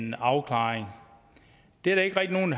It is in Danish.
en afklaring det er der ikke rigtig nogen